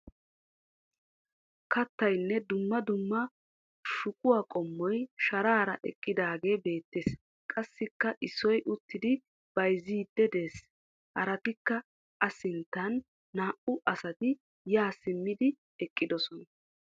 Kattayinne dumma dumma shuquwa qommoy sharaara eqqidaagee beettes. Qassikka issoy uttidi bayizziiddi des. Haratikka a sinttan naa"u asati yaa simmidi eqqiisona.